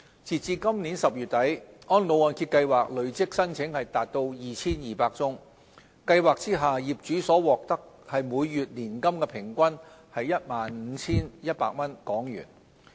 截至今年10月底，安老按揭計劃累積申請共 2,200 宗，計劃下業主所獲每月年金平均為 15,100 港元。